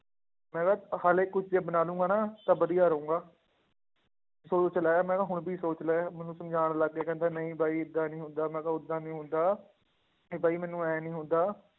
ਮੈਂ ਕਿਹਾ ਹਾਲੇ ਕੁਛ ਜੇ ਬਣਾ ਲਊਂਗਾ ਨਾ ਤਾਂ ਵਧੀਆ ਰਹਾਂਗਾ ਸੋਚ ਲੈ ਮੈਂ ਕਿਹਾ ਹੁਣ ਵੀ ਸੋਚ ਲੈ, ਮੈਨੂੰ ਸਮਝਾਉਣ ਲੱਗ ਗਿਆ ਕਹਿੰਦਾ ਨਹੀਂ ਬਾਈ ਏਦਾਂ ਨੀ ਹੁੰਦਾ, ਮੈਂ ਕਿਹਾ ਓਦਾਂ ਨੀ ਹੁੰਦਾ, ਇਹ ਬਾਈ ਮੈਨੂੰ ਇਉਂ ਨੀ ਹੁੰਦਾ